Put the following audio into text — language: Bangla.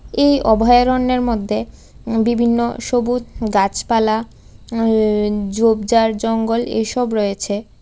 এই অভয়ারণ্যের মধ্যে উম বিভিন্ন সবুজ গাছপালা উমম ঝোপঝাড় জঙ্গল এসব রয়েছে ।